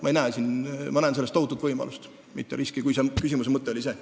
Ma näen selles tohutut võimalust, mitte riski – kui küsimuse mõte oli see.